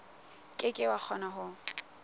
ke ke wa kgona ho